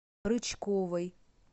рычковой